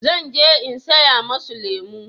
zan je in saya musu lemo